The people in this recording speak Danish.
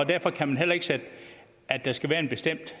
derfor kan man heller ikke sige at der skal være en bestemt